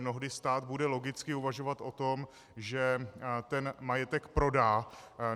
Mnohdy stát bude logicky uvažovat o tom, že ten majetek prodá.